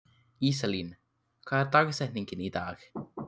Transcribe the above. Íselín, hver er dagsetningin í dag?